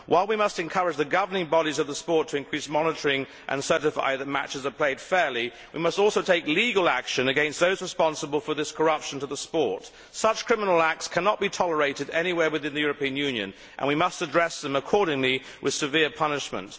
While we must encourage the governing bodies of the sport to increase monitoring and certify that matches are played fairly, we must also take legal action against those responsible for this corruption of the sport. Such criminal acts cannot be tolerated anywhere within the European Union and we must address them accordingly, with severe punishment.